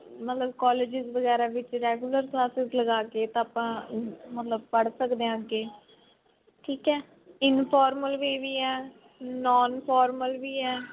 ਅਹ ਮਤਲਬ colleges ਵਗੇਰਾ ਵਿੱਚ regular classes ਲਗਾ ਕੇ ਤਾਂ ਆਪਾਂ ਮਤਲਬ ਪੜ੍ਹ ਸਕਦੇ ਹਾਂ ਅੱਗੇ ਠੀਕ ਹੈ formal way ਵੀ ਹੈ non formal ਵੀ ਹੈ